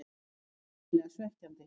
Það er hrikalega svekkjandi.